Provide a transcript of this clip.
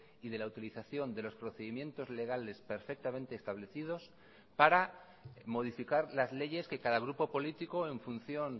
y de la utilización de los procedimientos legales perfectamente establecidos para modificar las leyes que cada grupo político en función